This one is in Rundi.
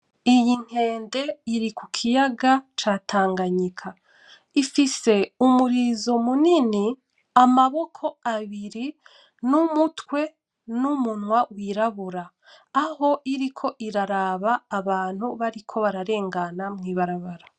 Iyi nkende iri kukiyaga ca tanganyika ifise umurizo munini amaboko abiri, n'umutwe ,n'umunwa w'irabura aho iriko iraraba abantu bariko bararengana mw'ibarabara.